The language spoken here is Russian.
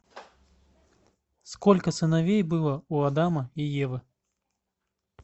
сколько сыновей было у адама и евы